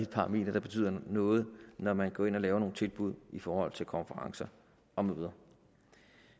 parameter der betyder noget når man går ind og laver nogle tilbud i forhold til konferencer og møder